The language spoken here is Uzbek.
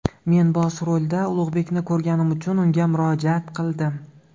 Men bosh rolda Ulug‘bekni ko‘rganim uchun, unga murojaat qildim.